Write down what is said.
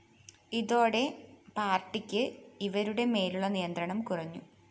ഇതോടെ പാര്‍ട്ടിക്ക് ഇവരുടെ മേലുള്ള നിയന്ത്രണം കുറഞ്ഞു